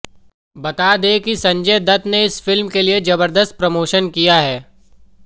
बता दें कि संजय दत्त ने इस फिल्म के लिए ज़बरदस्त प्रमोशन किया है